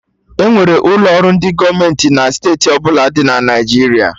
Enwere ụlọ ọrụ ndị gọọmenti na steeti ọbụla dị na Naijiria